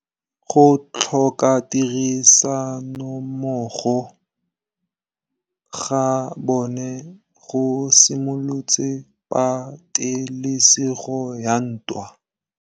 Go tlhoka tirsanommogo ga bone go simolotse patêlêsêgô ya ntwa.